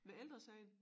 Med Ældre Sagen?